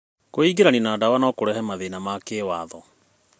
Kwĩingĩrania na ndawa no kũrehe mathĩĩna ma kĩwatho.